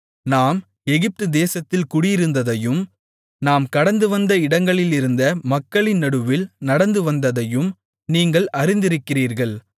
நாம் எகிப்து தேசத்தில் குடியிருந்ததையும் நாம் கடந்துவந்த இடங்களிலிருந்த மக்களின் நடுவில் நடந்துவந்ததையும் நீங்கள் அறிந்திருக்கிறீர்கள்